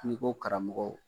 N'i ko karamɔgɔw